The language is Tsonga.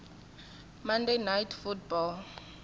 monday night football